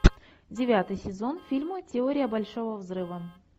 девятый сезон фильма теория большого взрыва